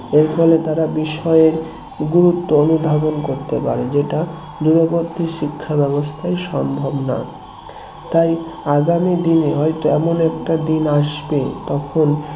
এর ফলে তারা বিষয়ের গুরুত্ব অনুধাবন করতে পারে যেটা দূরবর্তী শিক্ষা ব্যবস্থায় সম্ভব না তাই আগামী দিনে হয়তো এমন একটা দিন আসবে তখন